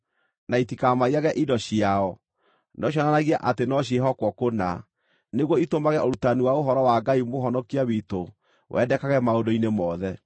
na itikamaiyage indo ciao, no cionanagie atĩ no ciĩhokwo kũna, nĩguo itũmage ũrutani wa ũhoro wa Ngai Mũhonokia witũ wendekage maũndũ-inĩ mothe.